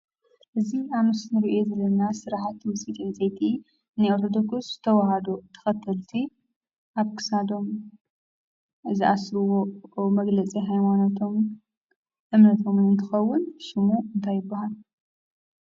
እዙይ ኣብ ምስሊ እንርእዮ ዘለና ስራሕቲ ውፅኢት ዕንፀይቲ ናይ ኦርቶዶክስ ተዋህዶ ተኸተልቲ ኣብ ክሳዶም ዝኣስርዎ መግለፂ ሃይማኖቶም እምነቶምን እንትኸውን ሽሙ እንታይ ይብሃል?